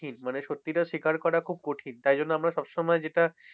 মানে সত্যিটা স্বীকার করা খুব কঠিন। তাই জন্য আমরা সবসময় যেটা,